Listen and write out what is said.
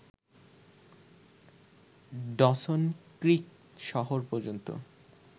Dawson Creek শহর পর্যন্ত